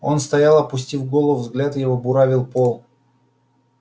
он стоял опустив голову взгляд его буравил пол